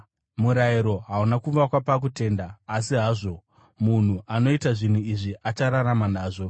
Murayiro hauna kuvakwa pakutenda; asi hazvo, “Munhu anoita zvinhu izvi achararama nazvo.”